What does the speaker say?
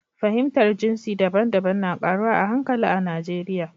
Fahimtar jinsi daban-daban na ƙaruwa a hankali a Najeriya.